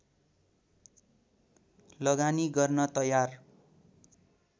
लगानी गर्न तयार